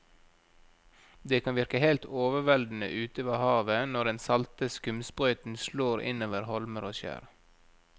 Det kan virke helt overveldende ute ved havet når den salte skumsprøyten slår innover holmer og skjær.